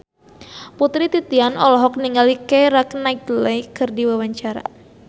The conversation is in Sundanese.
Putri Titian olohok ningali Keira Knightley keur diwawancara